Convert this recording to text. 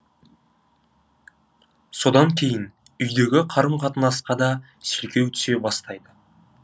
содан кейін үйдегі қарым қатынасқа да селкеу түсе бастайды